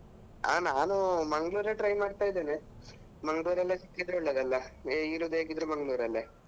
ಅಹ್ ನಾನು Mangalore ಯೇ try ಮಾಡ್ತಾ ಇದ್ದೇನೆ Mangalore ಲ್ಲಿ ಸಿಕ್ಕಿದ್ರೆ ಒಳ್ಳೆಯದಲ್ಲ ಇರುದು ಹೇಗಿದ್ದರೂ Mangalore ರಲ್ಲೇ.